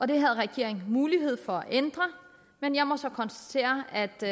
det har regeringen mulighed for at ændre men jeg må så konstatere at det